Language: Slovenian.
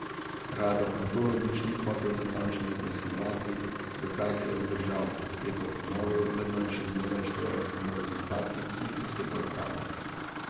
Rado Antolovič ni hotel natančneje pojasnjevati, zakaj se je vzdržal, je pa ponovil, da zanj še zmeraj štejejo samo rezultati, ki jih dosega uprava.